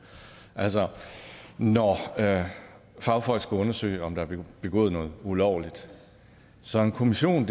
altså når fagfolk skal undersøge om der er blevet begået noget ulovligt så en kommission